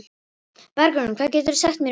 Bergrún, hvað geturðu sagt mér um veðrið?